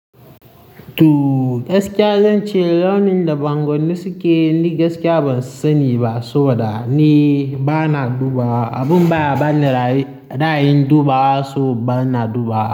Tu gaskiya zan ce launin da bangon da suke ni gaskiya ban sani ba saboda ni ba na duba abun baya bani ra ra, ayin duba, so ba na duba.